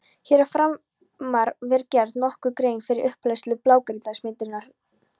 Hér að framan var gerð nokkur grein fyrir upphleðslu blágrýtismyndunarinnar.